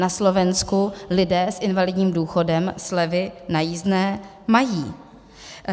Na Slovensku lidé s invalidním důchodem slevy na jízdné mají.